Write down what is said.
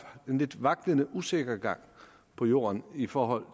en lidt vaklende usikker gang på jorden i forhold